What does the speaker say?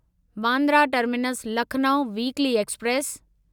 Bandra terminus Lucknow weekly express